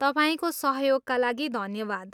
तपाईँको सहयोगका लागि धन्यवाद।